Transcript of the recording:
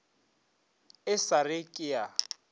e sa re ke a